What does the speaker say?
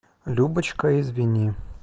любочка извини